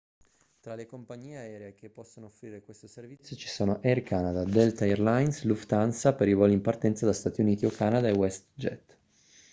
tra le compagnie aeree che possono offrire questo servizio ci sono air canada delta air lines lufthansa per i voli in partenza da stati uniti o canada e westjet